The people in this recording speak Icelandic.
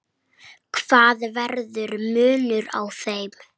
Það verður munur á þeim.